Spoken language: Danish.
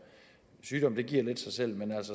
sygdom giver lidt sig selv men